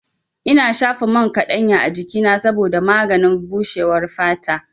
Ina shafa man kaɗanya a jikina saboda maganin bushewar fata.